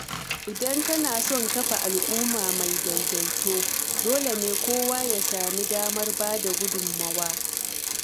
Idan ana son kafa al’umma mai daidaito, dole ne kowa ya sami damar bada gudunmawa.